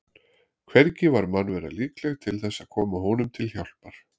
Hvergi var mannvera líkleg til þess að koma honum til hjálpar.